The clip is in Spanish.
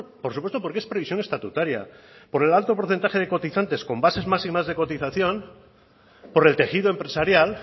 por supuesto porque es previsión estatutaria por el alto porcentaje de cotizantes con bases máximas de cotización por el tejido empresarial